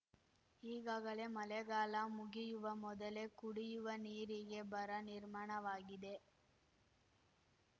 ಈಗಾಗಲೆ ಮಳೆಗಾಲ ಮುಗಿಯುವ ಮೊದಲೆ ಕುಡಿಯುವ ನೀರಿಗೆ ಬರ ನಿರ್ಮಾಣವಾಗಿದೆ